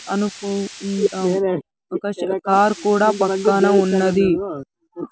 అనుకో ఉండా ఒక కార్ కూడా పక్కన ఉన్నది.